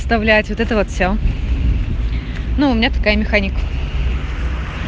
оставляет вот это вот все ну у меня такая механика